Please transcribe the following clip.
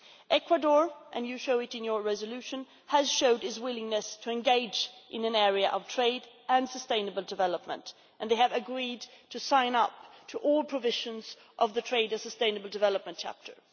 Ecuador, as you point out in your resolution, has shown its willingness to engage in an area of trade and sustainable development and agreed to sign up to all the provisions of the trade and sustainable development chapter.